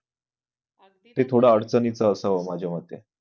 ते थोडं अडचणीचा असावं माझ्या मते